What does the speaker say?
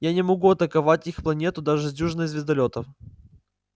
я не могу атаковать их планету даже с дюжиной звездолётов